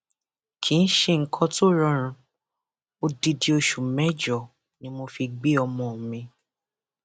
kì í ṣe nǹkan tó rọrùn odidi oṣù mẹjọ ni mo fi gbé ọmọ mi